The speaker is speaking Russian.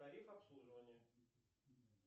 тариф обслуживания